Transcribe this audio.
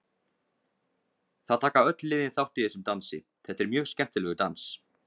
Það taka öll liðin þátt í þessum dansi, þetta er mjög skemmtilegur dans.